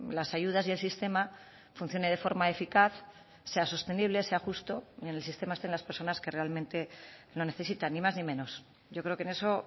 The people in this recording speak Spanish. las ayudas y el sistema funcione de forma eficaz sea sostenible sea justo y que en el sistema estén las personas que realmente lo necesitan ni más ni menos yo creo que en eso